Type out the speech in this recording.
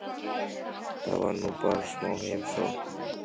Það var nú bara smá heimsókn.